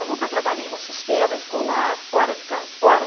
Eu nunca trabalhei no sistema escolar fora de ca fora.